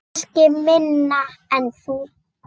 Kannski minna en þú.